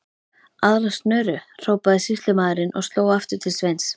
Aðra snöru, hrópaði sýslumaður og sló aftur til Sveins.